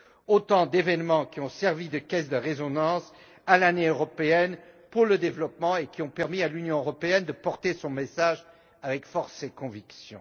Ce sont autant d'événements qui ont servi de caisse de résonance à l'Année européenne pour le développement et ont permis à l'Union européenne de porter son message avec force et conviction.